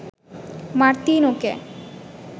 মার্তিনোকে